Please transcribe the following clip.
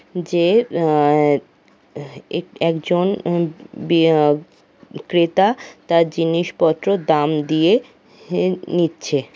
যে আ-আ-আ হ্যাঁ এক একজন উম বি- আ ক্রেতা তার জিনিসপত্রর দাম দিয়ে হে-এ নিচ্ছে।